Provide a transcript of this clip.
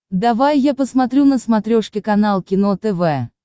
давай я посмотрю на смотрешке канал кино тв